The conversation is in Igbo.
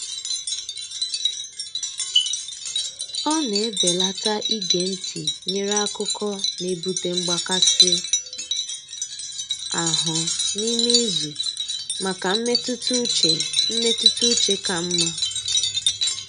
Ọ na-ebelata ige ntị nyere akụkọ n'ebute mgbakasị ahụ n'ime izu maka mmetụta uche mmetụta uche ka mma.